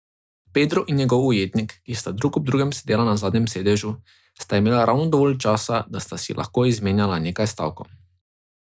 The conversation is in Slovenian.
Pedro in njegov ujetnik, ki sta drug ob drugem sedela na zadnjem sedežu, sta imela ravno dovolj časa, da sta si lahko izmenjala nekaj stavkov.